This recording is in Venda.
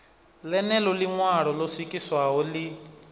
ḽeneḽo ḽiṋwalo ḽo swikiswaho ḽi